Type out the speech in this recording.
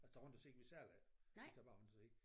Altså tager rundt og ser vi sælger ikke vi tager bare rundt og ser